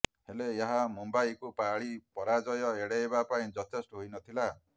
ହେଲେ ଏହା ମୁମ୍ବାଇକୁ ପାଳି ପରାଜୟ ଏଡାଇବା ପାଇଁ ଯଥେଷ୍ଟ ହୋଇନଥିଲା